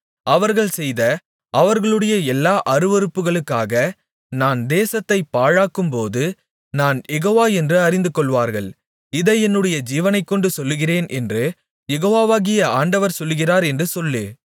அவர்கள் செய்த அவர்களுடைய எல்லா அருவருப்புகளுக்காக நான் தேசத்தைப் பாழாக்கும்போது நான் யெகோவா என்று அறிந்துகொள்வார்கள் இதை என்னுடைய ஜீவனைக்கொண்டு சொல்லுகிறேன் என்று யெகோவாகிய ஆண்டவர் சொல்லுகிறார் என்று சொல்லு